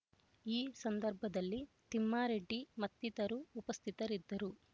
ಈ ಸಂದರ್ಭದಲ್ಲಿ ತಿಮ್ಮಾರೆಡ್ಡಿ ಮತ್ತಿತರರು ಉಪಸ್ಥಿತರಿದ್ದರು